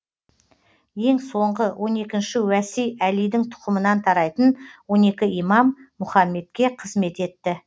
ең соңғы он екінші уәси әлидің тұқымынан тарайтын он екі имам мұхаммедке қызмет етті